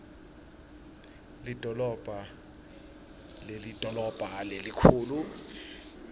lidolobha lidolobha lelikhulu